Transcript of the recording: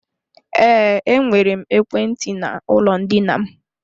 Ee, enwere m ekwentị n'ụlọ ndina m.